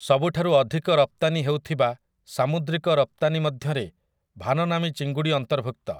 ସବୁଠାରୁ ଅଧିକ ରପ୍ତାନି ହେଉଥିବା ସାମୁଦ୍ରିକ ରପ୍ତାନିମଧ୍ୟରେ ଭାନନାମି ଚିଙ୍ଗୁଡ଼ି ଅନ୍ତର୍ଭୁକ୍ତ ।